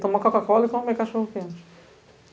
Tomar Coca-Cola e comer cachorro quente.